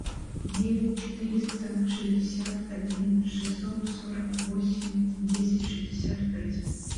девять четыреста шестьдесят один шестьсот сорок восемь десять шестьдесят пять